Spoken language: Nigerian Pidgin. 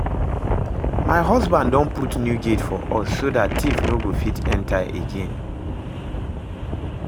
My husband don put new gate for us so dat thief no go fit enter again